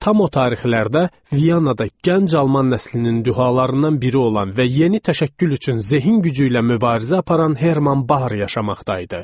Tam o tarixlərdə Viyanada gənc alman nəslinin dühalarından biri olan və yeni təşəkkül üçün zehin gücü ilə mübarizə aparan Herman Bar yaşamaqda idi.